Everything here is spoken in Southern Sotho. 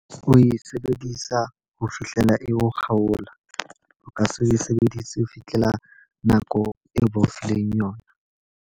O e sebedisa ho fihlela e o kgaola. O ka se o e sebedise ho fitlhela nako eo ba o fileng yona.